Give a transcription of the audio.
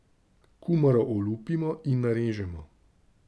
Kumaro olupimo in narežemo.